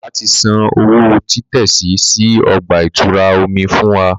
Bàbà tí sàn òwò titẹsi sí ọgba-itura omí fún wà